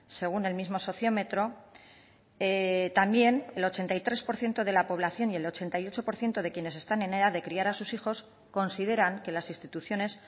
según el mismo sociómetro también el ochenta y tres por ciento de la población y el ochenta y ocho por ciento de quienes están en edad de criar a sus hijos consideran que las instituciones